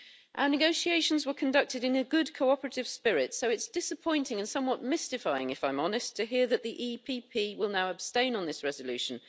Our negotiations were conducted in a good cooperative spirit, so it's disappointing and somewhat mystifying, if I'm honest, to hear that the EPP will now abstain on this resolution.